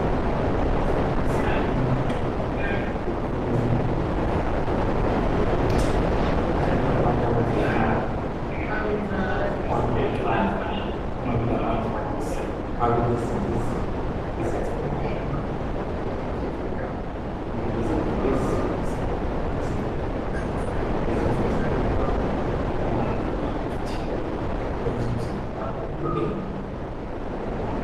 Lapha kufanekiswe umuntu okhulumayo ngookuthi kungabi labantu ababhemayo kungabi lotshwala kungabi lama drugs kungabi lezinto ezimbi, kungabi lezinto ezikulimaza umzimba